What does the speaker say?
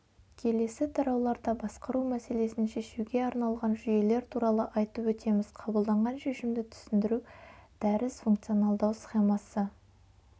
келесі тарауларда басқару мәселесін шешуге арналған жүйелер туралы айтып өтеміз қабылданған шешімді түсіндіру дәріс функционалдау схемасы